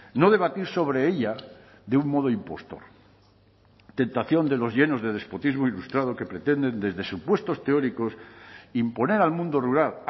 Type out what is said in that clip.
no debatir sobre ella de un modo impostor tentación de los llenos de despotismo ilustrado que pretenden desde supuestos teóricos imponer al mundo rural